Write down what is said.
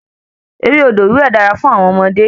Eré odò wíwẹ̀ dara fún àwọn ọmọdé